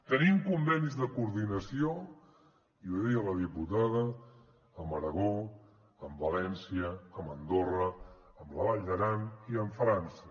tenim convenis de coordinació i ho deia la diputada amb aragó amb valència amb andorra amb la vall d’aran i amb frança